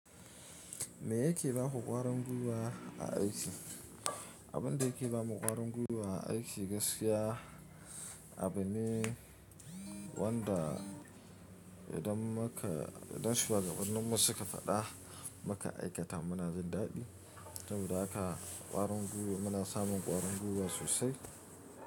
Me yake ba ku ƙwarin gwiwa a aiki? Abin da yake ba mu ƙwarin gwiwa a aiki gaskiya, abu ne wanda idan muka, idan shuwagabanninmu suka faɗa maka aikata muna jin daɗi, saboda haka ƙwarin gwiwa muna samun ƙwarin gwiwa sosai.